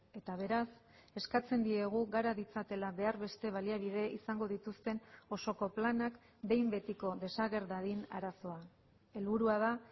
eta beraz eskatzen diegu gara ditzatela behar beste baliabide izango dituzten osoko planak behin betiko desager dadin arazoa helburua da